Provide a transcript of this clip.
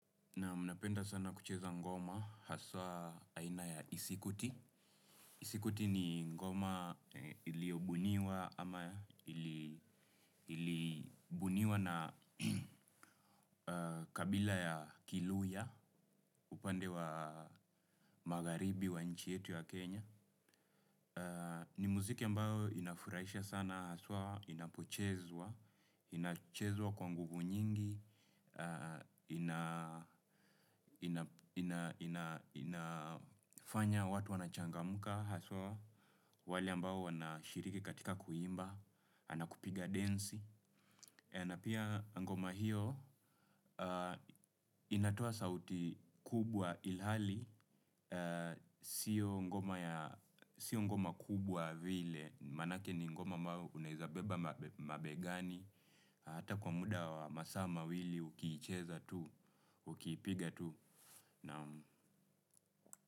Naam, napenda sana kucheza ngoma, hasa aina ya disikwiti. Sikwiti ni ngoma iliyo buniwa ama ilibuniwa na kabila ya kiluhya upande wa magaribi wa nchi yetu ya Kenya. Ni muziki ambaho inafurahishwa sana haswa, inapochezwa, inachezwa kwa nguvu nyingi, inafanya watu wanachangamuka haswa, wale ambaho wanashiriki katika kuimba, nakupiga densi. Na pia ngoma hiyo, inatoa sauti kubwa ilhali, sio ngoma kubwa vile, manake ni ngoma unawezabeba mabegani, hata kwa muda wa masaa mawili ukiicheza tu, ukiipiga tu.